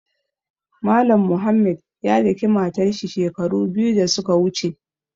Mallam Mohammed ya daƙi matar shi shekaru biyu da su ka wuche.